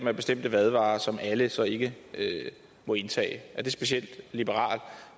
er bestemte madvarer som alle så ikke må indtage er det specielt liberalt